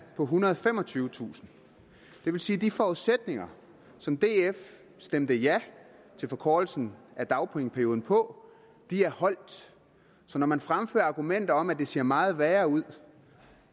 på ethundrede og femogtyvetusind det vil sige at de forudsætninger som df stemte ja til forkortelsen af dagpengeperioden på er holdt så når man fremfører argumenter om at det ser meget værre ud